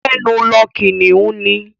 Gbẹ́nu lọ! Kìnnìún ni.